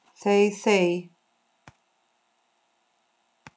Þey þey!